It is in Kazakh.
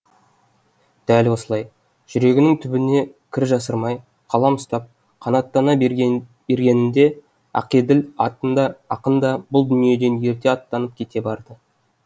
дәл осылай жүрегінің түбіне кір жасырмай қалам ұстап қанаттана бергенінде ақеділ ақын да бұл дүниеден ерте аттанып кете барды